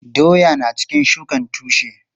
Doya na cikin shukan tushe.